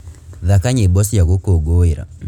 thaka nyīmbo cia gūkūngūīra